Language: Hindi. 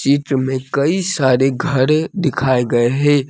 चित्र मे कई सारे घर दिखाऐ गए है।